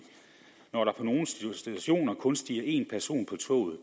når der på nogle stationer kun stiger en person på toget